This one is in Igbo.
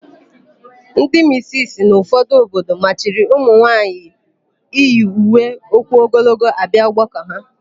Ndị misisi n'ụfọdụ obodo machiri ụmụnwaanyị iyi uwe ụkwụogologo abịa ọgbakọ ha.